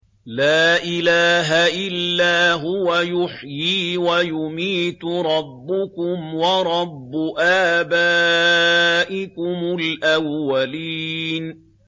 لَا إِلَٰهَ إِلَّا هُوَ يُحْيِي وَيُمِيتُ ۖ رَبُّكُمْ وَرَبُّ آبَائِكُمُ الْأَوَّلِينَ